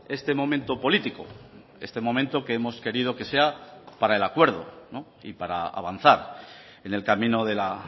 este momento político este momento que hemos querido que sea para el acuerdo y para avanzar en el camino de la